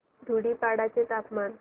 धुडीपाडा चे तापमान